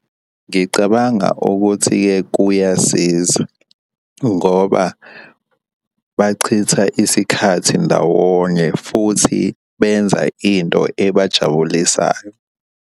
Ngicabanga ukuthi-ke kuyasiza ngoba bachitha isikhathi ndawonye futhi benza into ebajabulisayo.